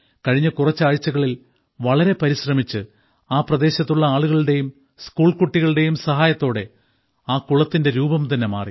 കഴിഞ്ഞ കുറച്ച് ആഴ്ചകളിൽ വളരെ പരിശ്രമിച്ച് ആ പ്രദേശത്തുള്ള ആളുകളുടെയും സ്കൂൾ കുട്ടികളുടെയും സഹായത്തോടെ ആ കുളത്തിന്റെ രൂപം തന്നെ മാറി